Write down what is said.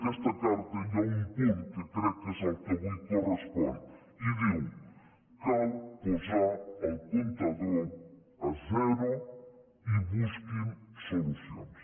aquesta carta hi ha un punt que crec que és el que avui correspon i diu cal posar el comptador a zero i busquin solucions